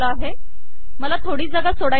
मला थोडी जागा सोडायची आहे